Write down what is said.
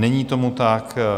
Není tomu tak.